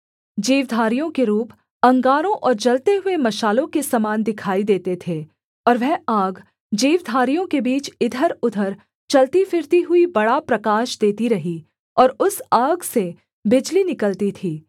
जीवधारियों के रूप अंगारों और जलते हुए मशालों के समान दिखाई देते थे और वह आग जीवधारियों के बीच इधरउधर चलतीफिरती हुई बड़ा प्रकाश देती रही और उस आग से बिजली निकलती थी